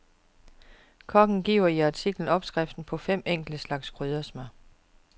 Kokken giver i artiklen opskrifter på fem enkle slags kryddersmør.